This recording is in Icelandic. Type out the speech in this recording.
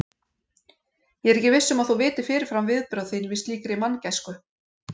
Ég er ekki viss um að þú vitir fyrirfram viðbrögð þín við slíkri manngæsku.